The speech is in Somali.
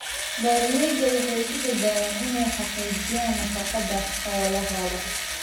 Beeraleydu waxay ku dadaalaan inay xaqiijiyaan nafaqada xoolahooda.